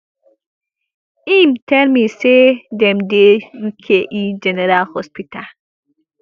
im tell me say dem dey uke general hospital